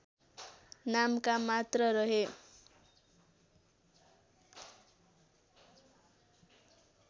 नामका मात्र रहे